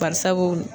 Barisabu